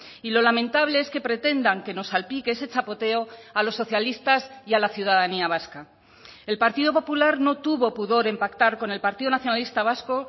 y lo lamentable es que pretendan que nos salpique ese chapoteo a los socialistas y a la ciudadanía vasca el partido popular no tuvo pudor en pactar con el partido nacionalista vasco